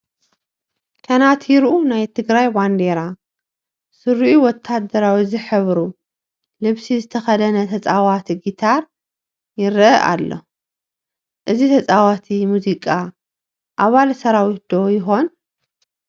ከነቲርኡ ናይ ትግራይ ባንዲራ ስሪኡ ወታደራዊ ዝሕብሩ ልብሲ ዝተኸደነ ተፃዋቲ ጊታር ይርአ ኣሎ፡፡ እዚ ተፃዋቲ ሙዚቃ ኣባል ሰራዊት ዶ ይኾን?